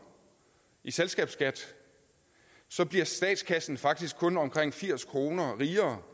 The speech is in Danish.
i selskabsskat så bliver statskassen faktisk kun omkring firs kroner rigere